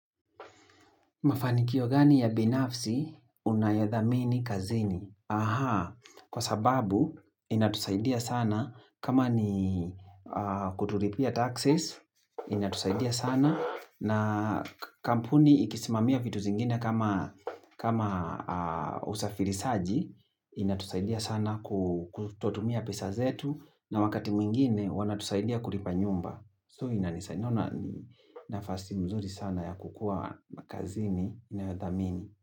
Mafanikio gani ya binafsi unayadhamini kazini? Aha, kwa sababu inatusaidia sana kama ni kuturipia taxes, inatusaidia sana. Na kampuni ikisimamia vitu zingine kama usafiri saji, inatusaidia sana kutotumia pesa zetu. Na wakati mwingine wanatusaidia kulipa nyumba. So ina nisanyona nafasi mzuri sana ya kukua makazini nayodhamini.